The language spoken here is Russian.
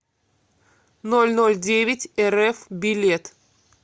нольнольдевятьэрэф билет